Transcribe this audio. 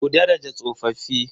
Ku daraja tsofaffi.